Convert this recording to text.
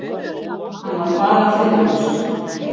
Hann var bara friðlaus.